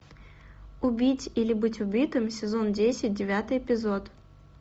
убить или быть убитым сезон десять девятый эпизод